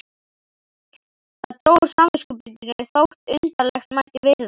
Það dró úr samviskubitinu þótt undarlegt mætti virðast.